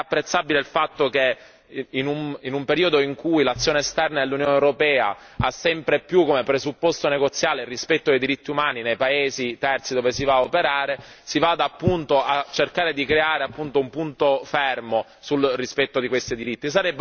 È apprezzabile il fatto che, in un periodo in cui l'azione esterna dell'Unione europea ha sempre più come presupposto negoziale il rispetto dei diritti umani nei paesi terzi dove si va a operare, si vada appunto a cercare di creare un punto fermo sul rispetto di questi diritti.